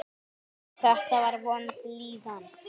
Þetta var vond líðan.